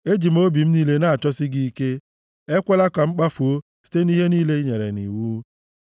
Eji m obi m niile na-achọsi gị ike. Ekwela ka m kpafuo site nʼihe niile i nyere nʼiwu.